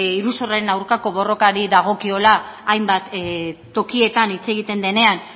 iruzurraren aurkako borrari dagokiola hainbat tokietan hitz egiten denean